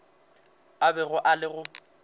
a bego a le go